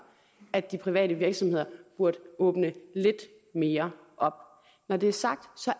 at de private virksomheder burde åbne lidt mere op når det er sagt